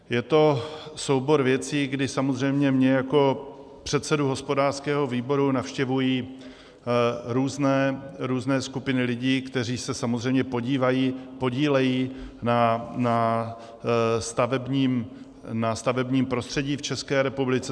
Je to soubor věcí, kdy samozřejmě mě jako předsedu hospodářského výboru navštěvují různé skupiny lidí, kteří se samozřejmě podílejí na stavebním prostředí v České republice.